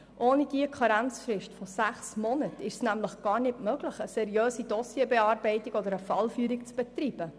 Ohne die Karenzfrist von sechs Monaten ist es nämlich gar nicht möglich, eine seriöse Dossierbearbeitung oder Fallführung zu betreiben.